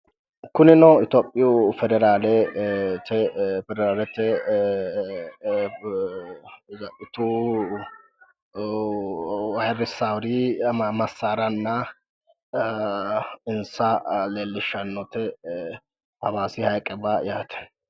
Kunino itiyophiyu federaalete tsaxxitu ayirrissawori massaaranna insa leellishshannote hawaasi hayiqewa yaate.